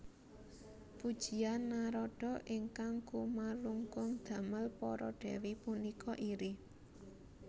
Pujian Narada ingkang kumalungkung damel para dèwi punika iri